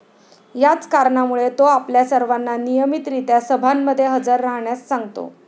याच कारणामुळे तो आपल्या सर्वांना नियमित रीत्या सभांमध्ये हजर राहण्यास सांगतो.